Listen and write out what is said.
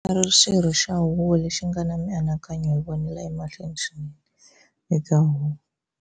U voniwa a ri xirho xa huvo lexi nga na mianakanyo yo vonela emahlweni swinene eka Huvo.